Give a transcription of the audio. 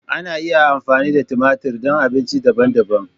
Ana iya amfani da tumatir don abinci daban-daban.